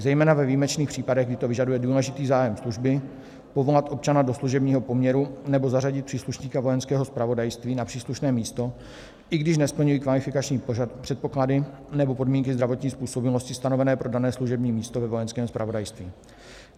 Zejména ve výjimečných případech, kdy to vyžaduje důležitý zájem služby, povolat občana do služebního poměru, nebo zařadit příslušníka Vojenského zpravodajství na příslušné místo, i když nesplňují kvalifikační předpoklady nebo podmínky zdravotní způsobilosti stanovené pro dané služební místo ve Vojenském zpravodajství.